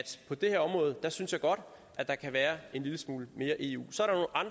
på det her område synes jeg godt at der kan være en lille smule mere eu så